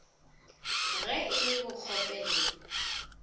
ge e le bokgope le